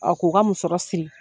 ko ka musɔrɔ siri.